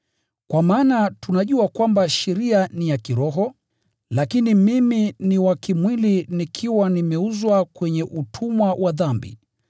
Kwa maana tunajua kwamba sheria ni ya kiroho, lakini mimi ni wa kimwili nikiwa nimeuzwa kwenye utumwa wa dhambi.